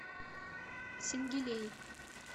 сенгилей